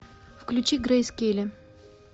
включи грейс келли